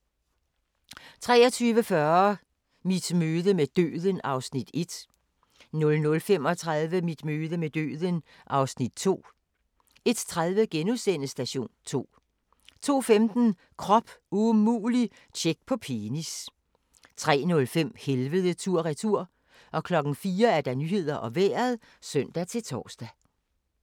23:40: Mit møde med døden (Afs. 1) 00:35: Mit møde med døden (Afs. 2) 01:30: Station 2 * 02:15: Krop umulig – tjek på penis 03:05: Helvede tur/retur 04:00: Nyhederne og Vejret (søn-tor)